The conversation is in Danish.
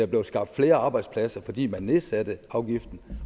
blev skabt flere arbejdspladser fordi man nedsatte afgiften